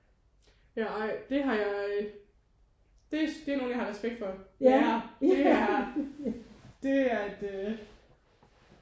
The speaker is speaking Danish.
Ja ej det har jeg øh det det er nogen jeg har respekt for: lærer. Det er det er et øh